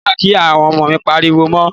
Mi ò ní gbà kí o pariwo mọ́ mi.